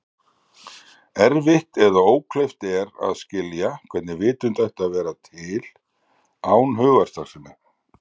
Erfitt eða ókleift er að skilja hvernig vitund ætti að vera til án hugarstarfsemi.